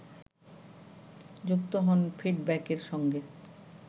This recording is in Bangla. যুক্ত হন ফিডব্যাকের সঙ্গে